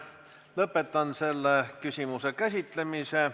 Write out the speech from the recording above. Lõpetan selle küsimuse käsitlemise.